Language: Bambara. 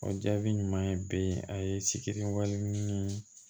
O jaabi ɲuman ye bɛɛ ye a ye sikɛriw ni